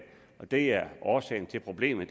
og det er årsagen til problemet